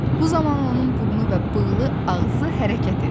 Bu zaman onun burnu və bığlı ağzı hərəkət edirdi.